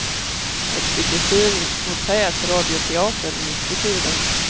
Ett stycke fin och tät radioteater, mitt i tiden.